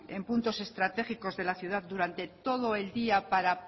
en puntos estratégicos de la ciudad durante todo el día para